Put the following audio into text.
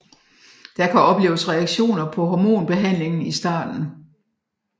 Der kan opleves reaktioner på hormonbehandlingen i starten